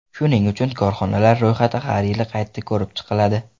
Shuning uchun korxonalar ro‘yxati har yili qayta ko‘rib chiqiladi”.